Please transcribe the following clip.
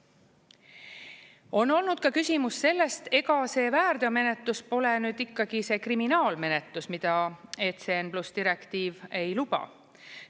On olnud ka küsimus sellest, ega see väärteomenetlus pole ikkagi see kriminaalmenetlus, mida ECN+ direktiiv ei luba.